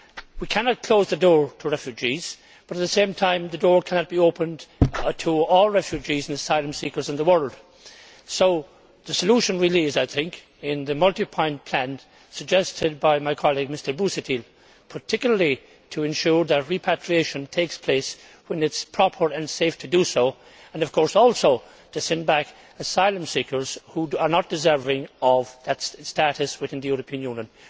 We cannot close the door to refugees, but, at the same time, the door cannot be opened to all the refugees and asylum seekers in the world. So the solution really is, I think, in the multi point plan suggested by my colleague, Mr Busuttil, particularly to ensure that repatriation takes place when it is proper and safe to do so and, of course, also to send back asylum seekers who are not deserving of that status within the European Union.